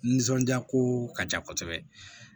Nisɔndiya ko ka ca kosɛbɛ